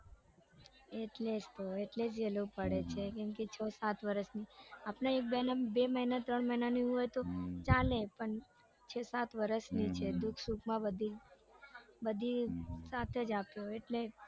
એટલે જ તો એટલે કેમ કે છ સાત વરસની આપડે એક બે ત્રણ મહિનાની હોય તો ચાલે પણ છ સાત વરસની છે દુઃખ સુખ માં બધી બધી સાથ જ આપ્યો એટલે